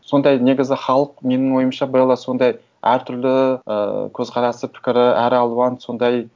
сондай негізі халық менің ойымша белла сондай әртүрлі ыыы көзқарасы пікірі әр алуан сондай